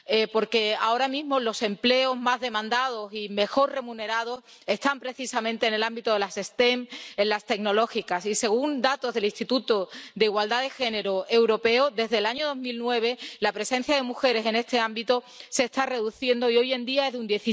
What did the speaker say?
Porque ahora mismo los empleos más demandados y mejor remunerados están precisamente en el ámbito de las STEM, en las tecnológicas y, según datos del Instituto Europeo de la Igualdad de Género, desde el año 2009 la presencia de mujeres en este ámbito se está reduciendo y hoy en día es de un